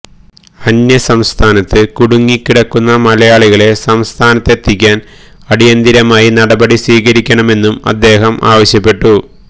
അന്യ സംസ്ഥാനത്ത് കുടുങ്ങി കിടക്കുന്ന മലയാളികളെ സംസ്ഥാനത്തെത്തിക്കാന് അടിയന്തിരമായി നടപടി സ്വീകരിക്കണമെന്നും അദ്ദേഹം ആവശ്യപ്പെട്ടു